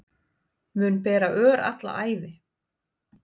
Mun bera ör alla ævi